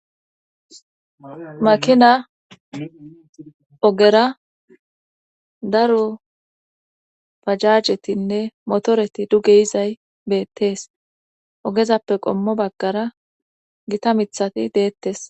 makina ogera daro pajajetinne motoreti duge izay beettees ogezappe qommo baggara gita mithati deettes